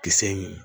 Kisɛ ɲimi